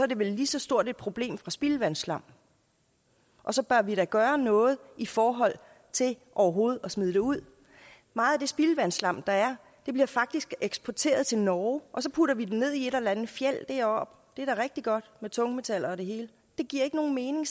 det vel et lige så stort problem fra spildevandsslam og så bør vi da gøre noget i forhold til overhovedet at smide det ud meget af det spildevandsslam der er bliver faktisk eksporteret til norge og så putter vi det ned i et eller andet fjeld deroppe det er da rigtig godt med tungmetaller og det hele det giver ikke nogen mening